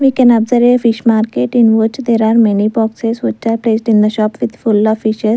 we can observe a fish market in which there are many boxes which are placed in the shop with full of fishes.